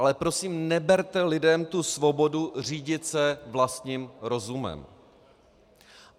Ale prosím, neberte lidem tu svobodu řídit se vlastním rozumem.